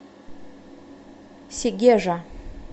сегежа